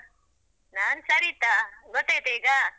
ನಾನ್ ಸರಿತಾ ಗೊತ್ತಾಯ್ತ ಈಗ.